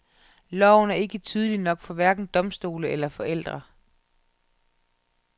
Loven er ikke tydelig nok for hverken domstole eller forældre.